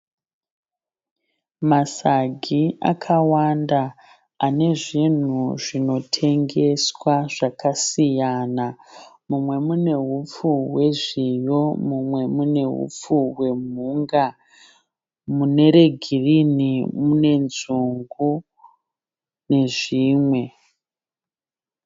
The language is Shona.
Masagi akawanda ane zvinhu zvinotengeswa zvakasiyana. Mumwe mune hupfu hwezviyo mumwe mune hupfu hwemhunga. Mune regirini mune nzungu nezvimwe.